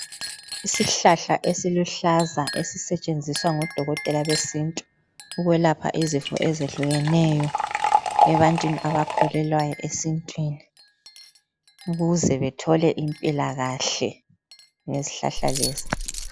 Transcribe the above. Isihlahla esiluhlaza esisetshenziswa ngodokotela besintu ukwelapha izifo ezehlukeneyo ebantwini abakhulelayo esintwini ukuze bethole impilakahle ngezihlahla lezi.